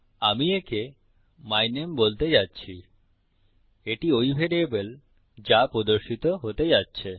আমি একে মাই নামে বলতে যাচ্ছি এটি ওই ভ্যারিয়েবল যা প্রদর্শিত হতে যাচ্ছে